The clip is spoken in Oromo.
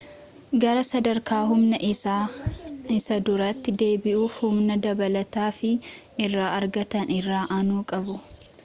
gara sadarka humna isaa isa duritti deebi'uuf humna dabalata ifaa irra argatan irra aanu qabu